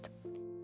Narsis.